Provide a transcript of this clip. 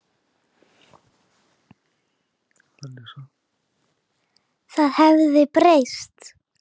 Það hafði breyst.